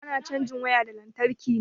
Ana cajin waya da lantarki ne